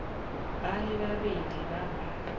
ba le babedi ba ba